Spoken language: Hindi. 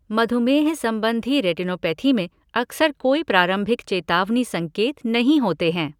मधुमेह संबंधी रेटिनोपैथी में अक्सर कोई प्रारंभिक चेतावनी संकेत नहीं होते हैं।